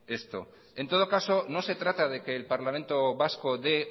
esto en todo caso no se trata de que el parlamento vasco dé